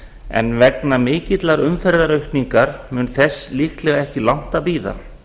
en vegna mikillar umferðaraukningar mun þess líklega ekki langt að bíða